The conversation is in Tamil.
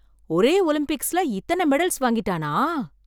ஒரே ஒலிம்பிக்ஸ்ல இத்தனை மெடல்ஸ் வாங்கிட்டானா!